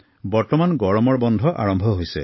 বৰ্তমান গৰমৰ বন্ধ আৰম্ভ হৈছে